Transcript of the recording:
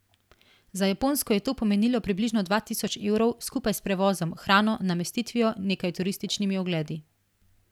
Za Japonsko je to pomenilo približno dva tisoč evrov, skupaj s prevozom, hrano, namestitvijo, nekaj turističnimi ogledi.